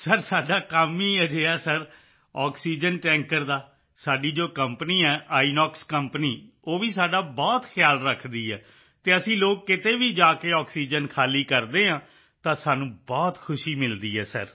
sir ਸਾਡਾ ਕੰਮ ਹੀ ਅਜਿਹਾ ਹੈ ਸਰ ਆਕਸੀਜਨ ਟੈਂਕਰ ਦਾ ਸਾਡੀ ਜੋ ਕੰਪਨੀ ਹੈ ਆਈਐਨਓਐਕਸ ਕੰਪਨੀ ਉਹ ਵੀ ਸਾਡਾ ਬਹੁਤ ਖਿਆਲ ਰੱਖਦੀ ਹੈ ਅਤੇ ਅਸੀਂ ਲੋਕ ਕਿਤੇ ਵੀ ਜਾ ਕੇ ਆਕਸੀਜਨ ਖਾਲੀ ਕਰਦੇ ਹਾਂ ਤਾਂ ਸਾਨੂੰ ਬਹੁਤ ਖੁਸ਼ੀ ਮਿਲਦੀ ਹੈ ਸਰ